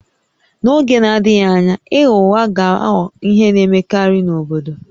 N'oge na-adịghị anya ịgha ụgha ga-aghọ ihe na-emekarị n'obodo